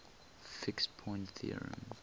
fixed point theorem